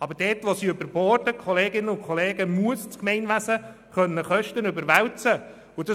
Aber dort, wo diese überborden, Kolleginnen und Kollegen, muss das Gemeinwesen Kosten überwälzen können.